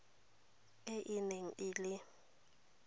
e e neng e le